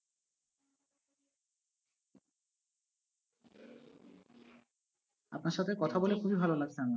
আপনার সাথে কথা বলে খুবই ভালো লাগছে আমার।